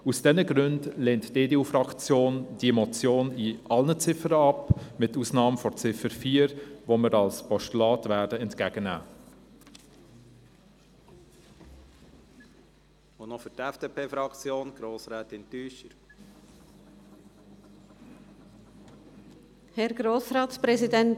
Aus diesen Gründen lehnt die EDU-Fraktion diese Motion in allen Ziffern ab, mit Ausnahme der Ziffer 4, die wir als Postulat entgegennehmen werden.